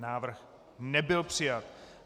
Návrh nebyl přijat.